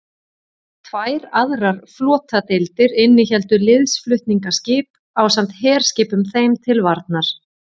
Tvær aðrar flotadeildir innihéldu liðsflutningaskip ásamt herskipum þeim til varnar.